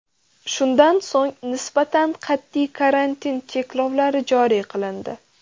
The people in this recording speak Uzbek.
Shundan so‘ng nisbatan qat’iy karantin cheklovlari joriy qilindi.